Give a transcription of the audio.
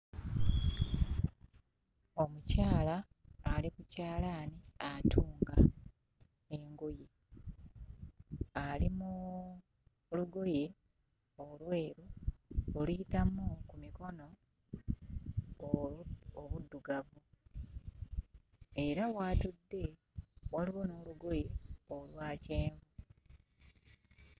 Omukyala ali ku kyalaani atunga engoye, ali mu lugoye olweru oluyitamu ku mikono obuddugavu, era w'atudde waliwo n'olugoye olwa kyenvu.